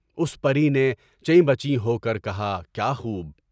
اُس پری نے چیں بچی ہو کر کہا کیا خوب!